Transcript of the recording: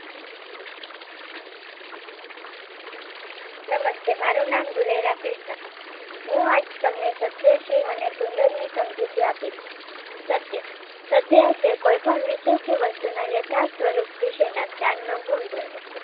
નમસ્તે, મારુ નામ દુલેરા કૃષ્ણ હું આજ તમને સત્ય શિવ અને સુંદરની સમજૂતી આપીશ. સત્ય સત્ય એટલે કોઈપણ વિષય કે વસ્તુ ના યથાર્થ સ્વરૂપ વિશેના જ્ઞાનનો ગુણધર્મ,